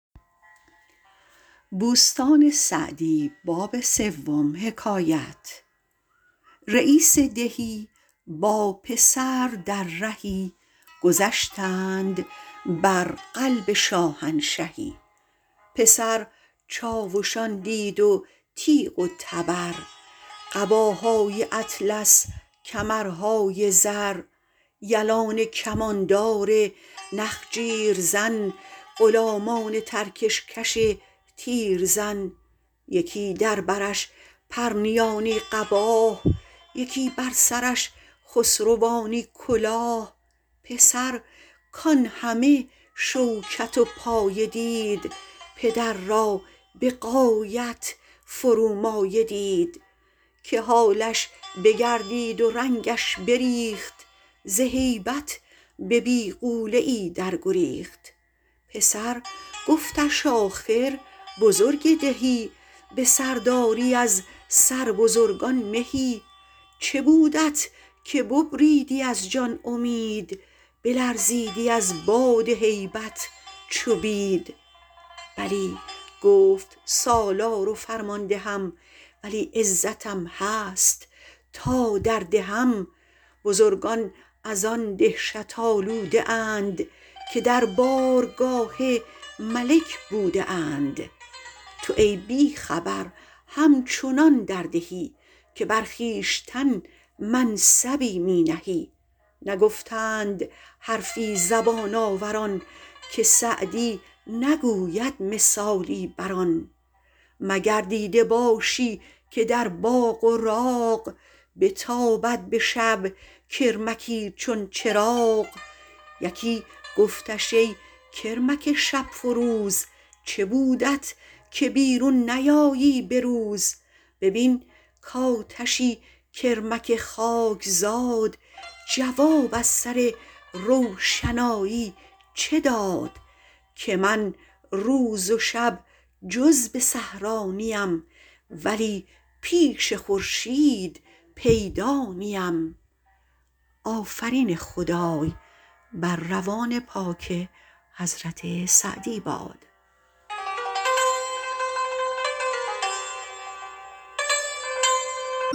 رییس دهی با پسر در رهی گذشتند بر قلب شاهنشهی پسر چاوشان دید و تیغ و تبر قباهای اطلس کمرهای زر یلان کماندار نخجیر زن غلامان ترکش کش تیرزن یکی در برش پرنیانی قباه یکی بر سرش خسروانی کلاه پسر کان همه شوکت و پایه دید پدر را به غایت فرومایه دید که حالش بگردید و رنگش بریخت ز هیبت به بیغوله ای در گریخت پسر گفتش آخر بزرگ دهی به سرداری از سر بزرگان مهی چه بودت که ببریدی از جان امید بلرزیدی از باد هیبت چو بید بلی گفت سالار و فرماندهم ولی عزتم هست تا در دهم بزرگان از آن دهشت آلوده اند که در بارگاه ملک بوده اند تو ای بی خبر همچنان در دهی که بر خویشتن منصبی می نهی نگفتند حرفی زبان آوران که سعدی نگوید مثالی بر آن مگر دیده باشی که در باغ و راغ بتابد به شب کرمکی چون چراغ یکی گفتش ای کرمک شب فروز چه بودت که بیرون نیایی به روز ببین کآتشی کرمک خاکزاد جواب از سر روشنایی چه داد که من روز و شب جز به صحرا نیم ولی پیش خورشید پیدا نیم